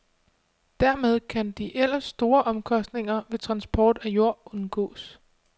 Dermed kan de ellers store omkostninger ved transport af jord undgås.